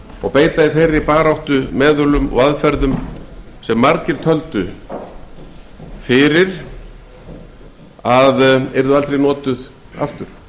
og beita í þeirri baráttu meðölum og aðferðum sem margir töldu fyrir ekki alls löngu að yrðu aldrei notuð aftur